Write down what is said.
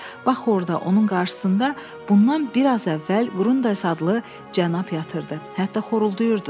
Bax orda, onun qarşısında bundan bir az əvvəl Qrundays adlı cənab yatırdı, hətta xoruldayırdı da.